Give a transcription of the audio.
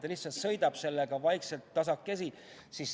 Nad lihtsalt sõidavad sellega vaikselt, tasakesi.